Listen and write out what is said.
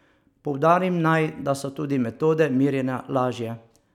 Poudarim naj, da so tudi metode merjenja lažje.